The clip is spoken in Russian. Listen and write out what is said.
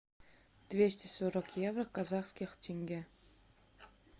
двести сорок евро в казахских тенге